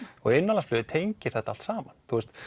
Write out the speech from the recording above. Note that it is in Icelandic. og innanlandsflugið tengir þetta allt saman